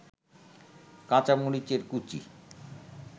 কাঁচামরিচের কুচি